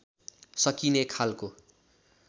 सकिने खालको